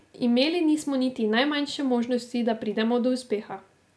Imeli nismo niti najmanjše možnosti, da pridemo do uspeha.